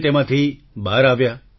તમે તેમાંથી બહાર આવ્યા